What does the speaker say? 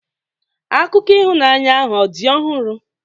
Akụkọ ịhụnanya ahụ ọ̀ dị ọhụrụ?